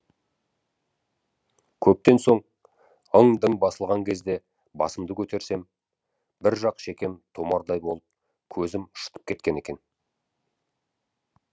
көптен соң ың дың басылған кезде басымды көтерсем бір жақ шекем томардай болып көзім шытып кеткен екен